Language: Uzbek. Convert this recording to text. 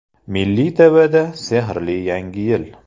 Milliy TV’da sehrli Yangi Yil.